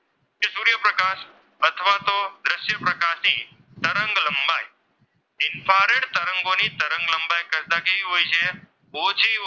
તરંગોની તરંગ લંબાઈ કરતાં કેવી હોય છે? ઓછી હોય,